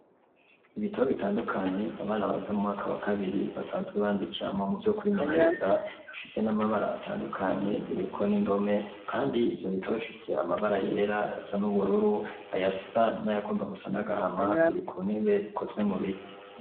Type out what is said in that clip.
Ibitabo bitandukanye abana bayega mu mwaka wa kabiri basanzwe bandikiramwo mu vyo kwimenyereza bifise n'amabara atandukanye biriko n'indome, kandi ivyo bitaba bifise amabara yera ayasa n'ubururu ayasa n'ayagomba gusa n'agahama biri ku ntebe ikozwe mu biti.